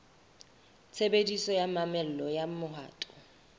tshebediso ya mamello ya mohato